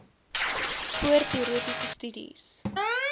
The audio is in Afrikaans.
voor teoretiese studies